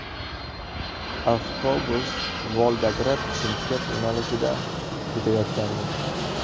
Avtobus Volgograd Chimkent yo‘nalishida ketayotgandi.